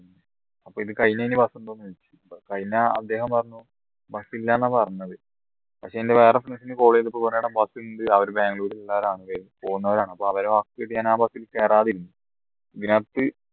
അപ്പൊ ഇത് കഴിഞ്ഞ് ഇനി bus ഉണ്ടോന്ന് ചോദിച്ചു അത് കഴിഞ്ഞ അദ്ദേഹം പറഞ്ഞു bus ഇല്ല എന്ന പറഞ്ഞത് പക്ഷേ എൻറെ വേറെ friend നെ call ചെയ്തപ്പോ പറഞ്ഞു എടാ bus ഉണ്ട് അവരെ ബാംഗ്ലൂര് പോന്നവരാണ് അവരെ വാക്ക് കേട്ട് ഞാൻ bus ൽ കയറാതിരുന്നു